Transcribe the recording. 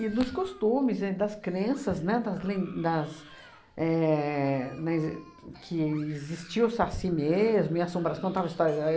E dos costumes e das crenças, né, das len das éh na exis que existia o Saci mesmo e assombra contava histórias aí